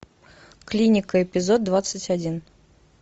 клиника эпизод двадцать один